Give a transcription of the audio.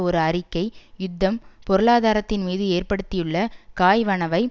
ஒரு அறிக்கை யுத்தம் பொருளாதாரத்தின் மீது ஏற்படுத்தியுள்ள காய்வனவை